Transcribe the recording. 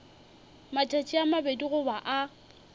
matšatši a mabedi goba a